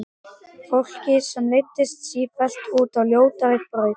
Fólki sem leiddist sífellt út á ljótari brautir.